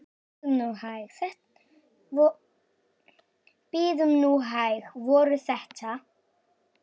Bíðum hæg. ekki voru þetta?